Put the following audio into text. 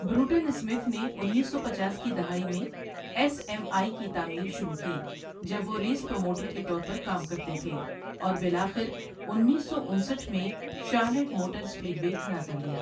Broughton Smith نے انیس سو پچاس کی دہائی میں ایس ایم آئی کی تعمیر شروع کی جب وہ ریس پروموٹر کے طور پر کام کرتے تھے اور بالآخر انیس سو انسٹھ میں شارلٹ موٹر اسپیڈ وے کھڑا کر لیا۔